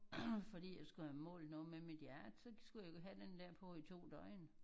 Fordi jeg skulle have målt noget med mit hjerte så skulle jeg have den der på i 2 døgn